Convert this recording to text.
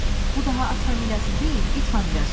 bu daha at familiyası deyil, it familiyası oldu.